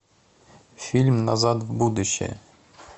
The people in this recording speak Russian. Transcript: фильм назад в будущее